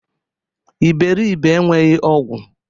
Iberibe enweghị ogwu!